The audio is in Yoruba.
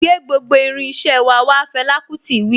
Gbé gbogbo irin iṣẹ́ wà wá' Fẹlà kútì wí.